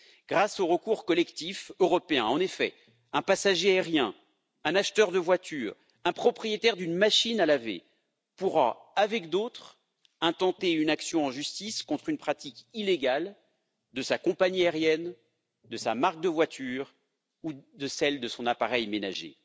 Grâce au recours collectif européen, en effet, un passager aérien, un acheteur de voiture, un propriétaire d'une machine à laver pourra avec d'autres intenter une action en justice contre une pratique illégale de sa compagnie aérienne, de sa marque de voiture ou de celle de son appareil ménager.